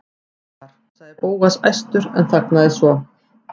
Ég var.- sagði Bóas æstur en þagnaði svo.